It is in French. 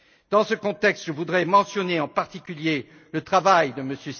Dans ce contexte, je voudrais mentionner, en particulier, le travail de M.